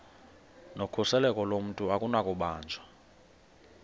nokhuseleko lomntu akunakubanjwa